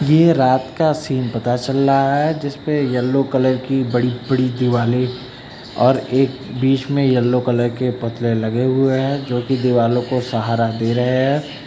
ये रात का सीन पता चल रहा है जिसपे येलो कलर की बड़ी बड़ी दिवाले और एक बीच में येलो कलर के पुतले लगे हुए हैं जो कि दीवालो को सहारा दे रहे है।